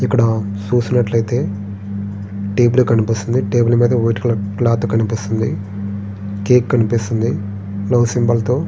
ఇప్పుడ చూసినట్లయితే టేబుల్ కనిపిస్తుంది. టేబుల్ మీద వైట్ కలర్ క్లాత్ కనిపిస్తుంది. కేక్ కనిపిస్తుంది. లవ్ సింబల్ తో--